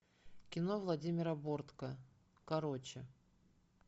кино владимира бортко короче